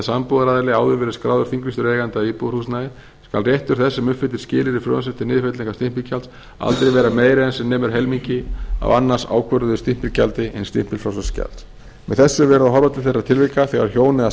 sambúðaraðili áður verið skráður þinglýstur eigandi að íbúðarhúsnæði skal réttur þess sem uppfyllir skilyrði frumvarpsins til niðurfellingar stimpilgjalds aldrei vera meiri en sem nemur helmingi af annars ákvörðuðu stimpilgjaldi hins stimpilfrjálsa skjals með þessu er verið að horfa til þeirra tilvika þegar hjón eða